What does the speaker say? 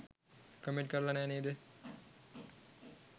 Comment කරලා නෑ නේද?